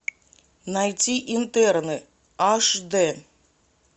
найти интерны аш дэ